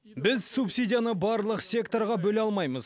біз субсидияны барлық секторға бөле алмаймыз